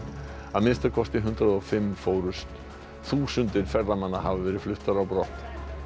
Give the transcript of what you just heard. að minnsta kosti hundrað og fimm fórust þúsundir ferðamanna hafa verið fluttar á brott